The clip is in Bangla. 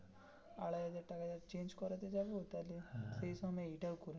আড়াই হাজার টাকা change করতে যাবো তাহলে সেই সঙ্গে এইটাও করিয়ে নেবো.